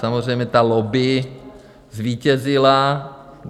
Samozřejmě ta lobby zvítězila.